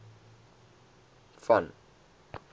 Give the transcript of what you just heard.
van